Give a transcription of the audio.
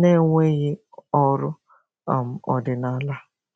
na-enweghị ọrụ um ọdịnala.